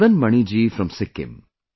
Madan Mani ji from Sikkim